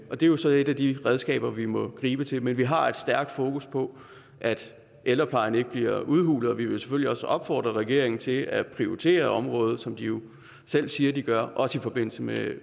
og det er jo så et af de redskaber vi må gribe til men vi har et stærkt fokus på at ældreplejen ikke bliver udhulet og vi vil selvfølgelig også opfordre regeringen til at prioritere området som de jo selv siger de gør også i forbindelse med